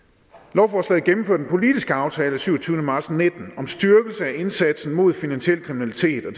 lovforslaget gennemfører den politiske aftale af syvogtyvende marts nitten om styrkelse af indsatsen mod finansiel kriminalitet og